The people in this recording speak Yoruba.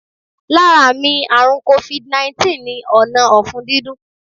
Lára àmì àrùn Covid 19 ni ọ̀nà ọ̀fun dídùn